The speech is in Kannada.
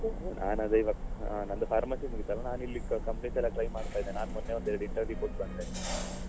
ನಾನದೇ ಇವತ್ತು ನಂದು pharmacy ಮುಗಿತಲ್ಲ ನಾನಿಲ್ಲಿ companies ಎಲ್ಲ try ಮಾಡ್ತಾ ಇದ್ದೇನೆ ನಾನ್ ಮೊನ್ನೆ ಎರಡು interview ಕೊಟ್ಟು ಬಂದೆ .